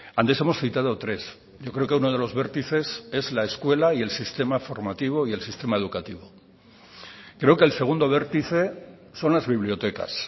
antes hemos citado tres yo creo que uno de los vértices es la escuela y el sistema formativo y el sistema educativo creo que el segundo vértice son las bibliotecas